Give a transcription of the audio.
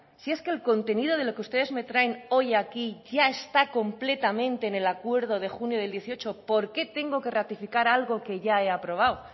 si es que el contenido de lo que ustedes me traen hoy aquí ya está completamente en el acuerdo de junio del dieciocho por qué tengo que ratificar algo que ya he aprobado